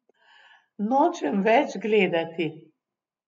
Nočem več gledati.